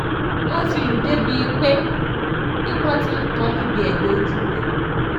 wọ́n ti lù ú débíi pé ìpọ́n ti ń tọ́ níbi ẹgbẹ́ ojú rẹ̀